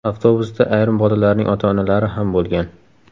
Avtobusda ayrim bolalarning ota-onalari ham bo‘lgan.